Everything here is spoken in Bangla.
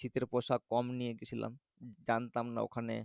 শীতের পোশাক কম নিয়ে গেছিলাম জানতাম না ওখানে